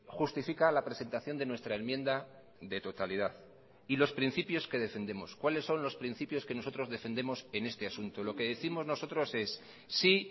justifica la presentación de nuestra enmienda de totalidad y los principios que defendemos cuáles son los principios que nosotros defendemos en este asunto lo que décimos nosotros es sí